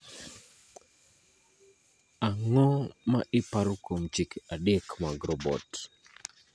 Ang�o ma iparo kuom chike adek mag robot?